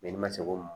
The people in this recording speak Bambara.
ni ma se o ma